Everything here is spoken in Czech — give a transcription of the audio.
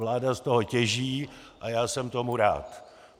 Vláda z toho těží a já jsem tomu rád.